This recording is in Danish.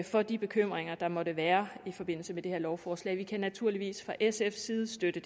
for de bekymringer der måtte være i forbindelse med det her lovforslag vi kan naturligvis fra sfs side støtte